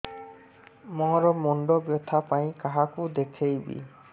ମୋର ମୁଣ୍ଡ ବ୍ୟଥା ପାଇଁ କାହାକୁ ଦେଖେଇବି